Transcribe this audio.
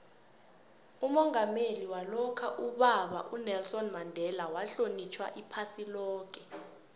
umongameli walokha ubaba unelson mandela uhlonitjhwa iphasi loke